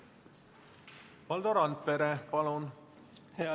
Valdo Randpere, palun!